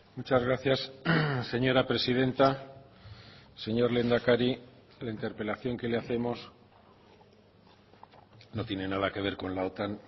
muchas gracias señora presidenta señor lehendakari la interpelación que le hacemos no tiene nada que ver con la otan